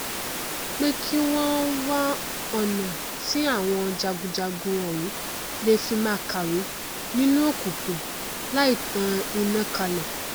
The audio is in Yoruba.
pé kí wọn wá ọna tí àwọn jagunjagun òun lè fi máa kàwé nínú òkùnkùn láì tan iná kalẹ